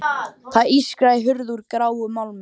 Það ískraði í hurð úr gráum málmi.